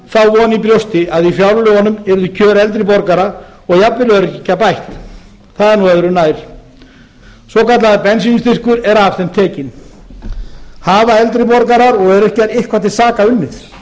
þá von í brjósti að í fjárlögunum yrðu kjör eldri borgara og jafnvel öryrkja bætt það er nú öðru nær svokallaður bensínstyrkur er af þeim tekinn hafa eldri borgarar og öryrkjar eitthvað til saka unnið